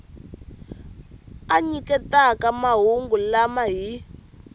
a nyiketaka mahungu lama hi